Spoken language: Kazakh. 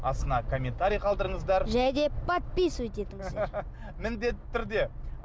астына комментарий қалдырыңыздар және де подписывать етіңіздер міндетті түрде